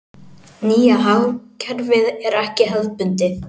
Nýja hagkerfið er ekki hefðbundið.